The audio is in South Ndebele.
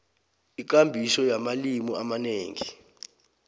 ikambiso yamalimi amanengi